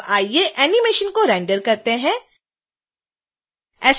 अब आइए एनीमेशन को रेंडर करते हैं